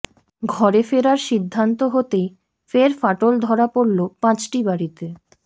ঘরে ফেরার সিদ্ধান্ত হতেই ফের ফাটল ধরা পড়ল পাঁচটি বাড়িতে